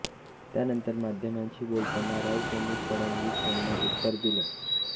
त्यानंतर माध्यमांशी बोलताना राऊत यांनी फडणवीस यांना उत्तर दिलं